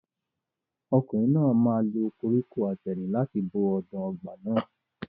Ọkùnrin náà máa lo koríko àtẹ̀rìn láti bo ọ̀dàn ọgbà náà.